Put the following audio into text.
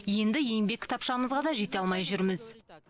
енді еңбек кітапшамызға да жете алмай жүрміз